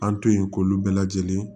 An to yen k'olu bɛɛ lajɛlen